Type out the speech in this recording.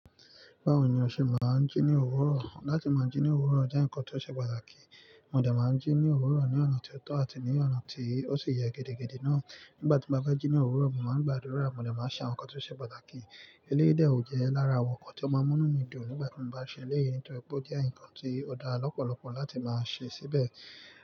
Báwo ni o ṣe máa ń jí ní òwúrọ̀? Láti máa jí ní òwúrọ̀ jẹ́ nǹkan tó ṣe pàtàkì. Mo dà máa ń jí ní òwúrọ̀ ní ọ̀nà tó tọ́ àti ní ọ̀nà tí ó sì yẹ gidigidi náà. Nígbà tí mo bá jẹ́ jí ní òwúrọ̀, mo máa ń gbàdúrà, mo lè máa ṣàwọn nǹkan tó ṣe pàtàkì. Eléyi de ó jẹ́ lára àwọn nǹkan tó máa ń mú mí dùn nígbà tí mo bá ṣe eléyè nítorí pé ó jẹ́ nǹkan tí ó dá lọ́pọ̀lọpọ̀ láti máa ṣe síbẹ̀.